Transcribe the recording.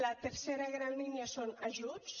la tercera gran línia són ajuts